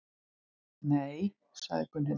Nei, sagði Gunnhildur.